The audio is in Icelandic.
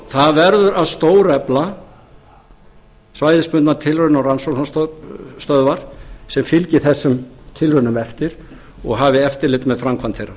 það verður að stórefla svæðisbundnar tilrauna og rannsóknastöðvar sem fylgi þessum tilraunum eftir og hafi eftirlit með framkvæmd þeirra